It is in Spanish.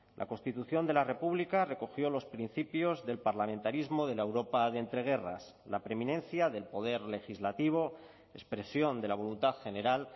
la constitución de la república recogió los principios del parlamentarismo de la europa de entre guerras la preminencia del poder legislativo expresión de la voluntad general